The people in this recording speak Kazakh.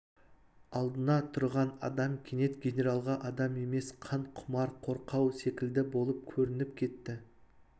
алдында тұрған адам кенет генералға адам емес қан құмар қорқау секілді болып көрініп кетті